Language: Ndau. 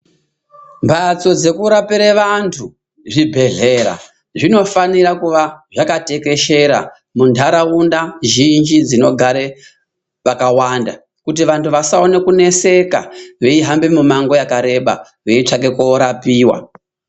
Mbatso dzekurapiree vantu ,zvibhehlera zvinofanira kunge zvakatekeshera mumanharaunda kuitira kuti anhu asaneseka eihamba mumango wakareba eitsvaka korapiwa.